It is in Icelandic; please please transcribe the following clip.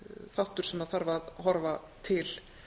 þáttur sem þarf að horfa til